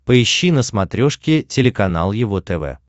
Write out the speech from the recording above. поищи на смотрешке телеканал его тв